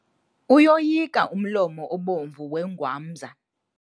Uyoyika umlomo obomvu wengwamza.